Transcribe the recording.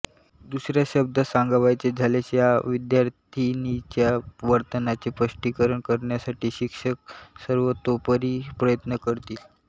दुसऱ्या शब्दात सांगावयाचे झाल्यास या विद्यार्थिनीच्या वर्तनाचे स्पष्टीकरण करण्यासाठी शिक्षक सर्वतोपरी प्रयत्न करतील